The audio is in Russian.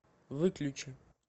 выключи